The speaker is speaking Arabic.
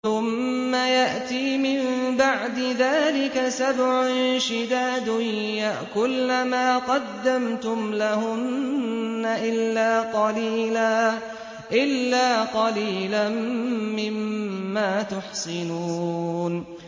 ثُمَّ يَأْتِي مِن بَعْدِ ذَٰلِكَ سَبْعٌ شِدَادٌ يَأْكُلْنَ مَا قَدَّمْتُمْ لَهُنَّ إِلَّا قَلِيلًا مِّمَّا تُحْصِنُونَ